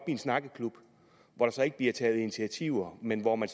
en snakkeklub hvor der ikke bliver taget initiativer men hvor man